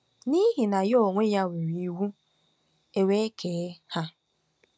N'ihi na Ya onwe-ya nyere iwu, ewe kee ha.